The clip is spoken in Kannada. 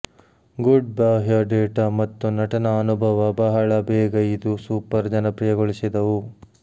ಗುಡ್ ಬಾಹ್ಯ ಡೇಟಾ ಮತ್ತು ನಟನಾ ಅನುಭವ ಬಹಳ ಬೇಗ ಇದು ಸೂಪರ್ ಜನಪ್ರಿಯಗೊಳಿಸಿದವು